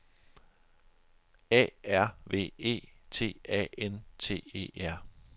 A R V E T A N T E R